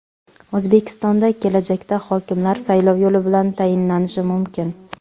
O‘zbekistonda kelajakda hokimlar saylov yo‘li bilan tayinlanishi mumkin.